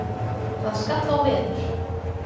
Það skall á veður.